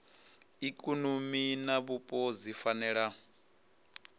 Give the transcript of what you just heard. ikonomi na vhupo dzi fanela